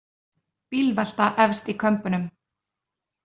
Bílvelta efst í Kömbunum